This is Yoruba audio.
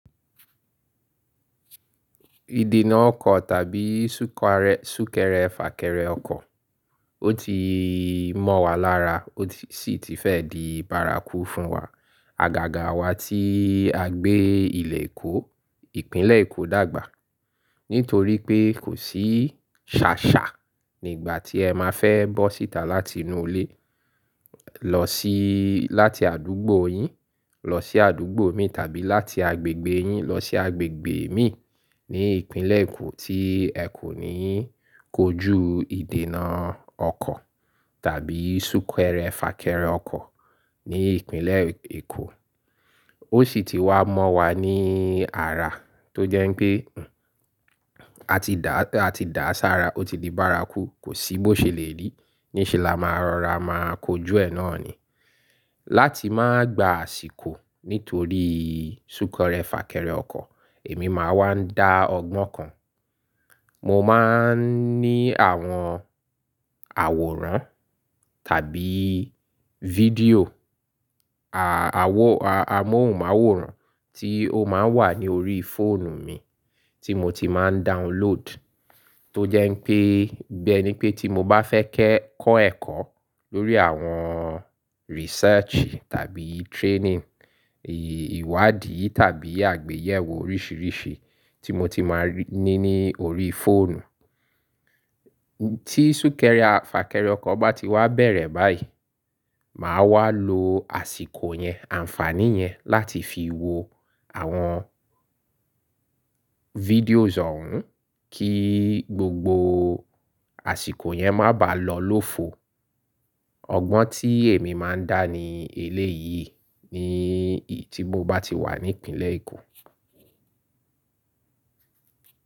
Ìdènà ọkọ̀ tàbí súkẹrẹ fàkẹrẹ ọkọ̀, ó ti mọ́ wa lára ó sì ti fẹ́ di bárakú fún wa. Àgàgà wa tí a gbé ilẹ̀ Èkó, Ìpínlẹ̀ Èkó dàgbà. Nítorí pé kò sí ṣàṣà nígbà tí ẹ máa fẹ́ bọ́ síta láti inú ilé, lọ sí láti àdúgbò yín lọ sí àdúgbò imi tàbí láti agbègbè yín lọ sí agbègbè imi ní ìpínlẹ̀ Èkó tí ẹ kò ní kojú ìdènà ọkọ̀ tàbí súkẹrẹ fàkẹrẹ ọkọ̀ ní ìpínlẹ̀ Èkò. Ó sì ti wá mọ́ wa ní ara tó jẹ́ pé, a ti dàsára, ó ti di bárakú, kò sí bó ṣe lè rí. Ni ṣe la máa rọra máa kojú ẹ náà ni. Láti máa gba àsìkò nítorí súkẹrẹ fàkẹrẹ ọkọ̀, èmi máa ń dá ọgbọ́n kan. Mo máa ń ní àwọn àwòrán tàbí fídíò, amóhùnmáwòrán tí ó máa ń wà ní orí fóònù mi tí mo ti máa ń download. Tó jẹ́ pé, bẹ́ ní pé tí mo bá fẹ́ kẹ́ kọ́ ẹ̀kọ́ lórí àwọn research tàbí training, ìwádìí tàbí àgbéyẹ̀wò oríṣìíríṣìí tí mo ti máa ní ní orí fóònù. Tí súkẹrẹ fàkẹrẹ ọkọ̀ bá ti wá bẹ̀rẹ̀ báyìí, màá wá lo àsìkò yẹn, àǹfàní yẹn láti fi wo àwọn videos ọ̀hùn kí gbogbo àsìkò yẹn má bàá lọ lófo. Ọgbọ́n tí èmi máa ń dá ni eléyìí ni tí mo bá ti wà ní ìpínlẹ̀ Èkó.